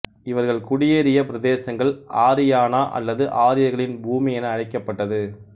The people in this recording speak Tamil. இவர்கள் குடியேறிய பிரதேசங்கள் ஆரியானா அல்லது ஆரியர்களின் பூமி என அழைக்கப்பட்டது